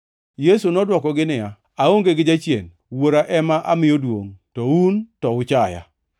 Yesu nodwokogi niya, “Aonge gi jachien. Wuora ema amiyo duongʼ to un to uchaya.